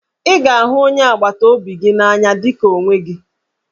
Ị ga-ahụ onye agbataobi gị n'anya dị ka onwe gị